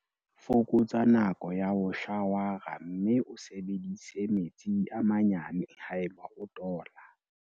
Fokotsa nako ya ho shawara mme o sebedise metsi a manyane haeba o tola.